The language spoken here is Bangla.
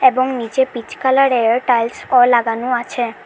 এবং নীচে পিচ কালারের টাইলসও লাগানো আছে।